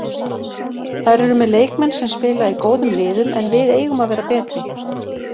Þær eru með leikmenn sem spila í góðum liðum en við eigum að vera betri.